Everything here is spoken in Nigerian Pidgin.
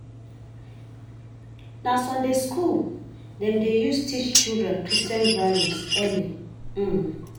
Na Sunday school dem dey use teach children Christian values early. um